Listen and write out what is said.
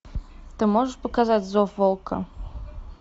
ты можешь показать зов волка